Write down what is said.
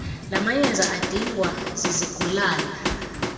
lamayeza adingwa zizigulana